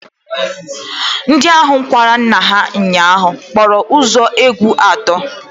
Ndị ahụ kwara nna ha ụnyaahụ kpọrọ ụzọ egwu atọ